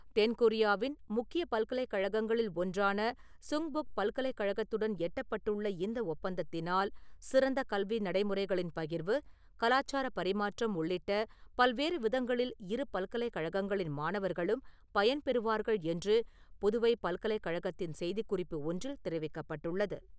தென்கொரியாவின் முக்கிய பல்கலைக்கழகங்களில் ஒன்றான சங்பக் பல்கலைக்கழகத்துடன் எட்டப்பட்டுள்ள இந்த ஒப்பந்தத்தினால் சிறந்த கல்வி நடைமுறைகளின் பகிர்வு , கலாச்சார பரிமாற்றம் உள்ளிட்ட பல்வேறு விதங்களில் இரு பல்கலைக்கழகங்களின் மாணவர்களும் பயன்பெறுவார்கள் என்று புதுவை பல்கலைக்கழகத்தின் செய்திக்குறிப்பு ஒன்றில் தெரிவிக்கபட்டுள்ளது.